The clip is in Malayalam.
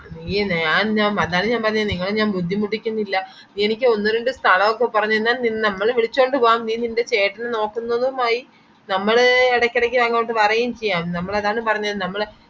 നീയ് ആ ഞാൻ മൽ അത ഞാൻ പറഞ്ഞെ നിങ്ങളെ ഞാൻ ബുദ്ധിമുട്ടിക്കുന്നില്ല നീ എന്നിക് ഒന്ന് രണ്ടു കളവു ഒക്കെ പറഞ്ഞു കൈഞ്ഞാൽ നിൻ നമ്മൾ വിളിച്ചോണ്ട് പോവാം നീ നിന്റെ ചേട്ടനെ നോക്കുന്നതുമായി നമ്മൾ ഇടക്കെടക്ക് അങ്ങൊട് വരേം ചെയ്യാം നമ്മളതാണ് പറഞ്ഞെ നമ്മള്